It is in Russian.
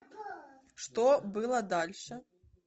что было дальше